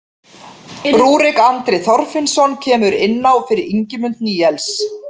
Rúrik Andri Þorfinnsson kemur inn á fyrir Ingimund Níels.